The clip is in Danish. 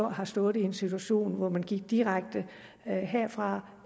har stået i en situation hvor man gik direkte herfra